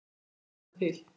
Hvað gengur mönnum til?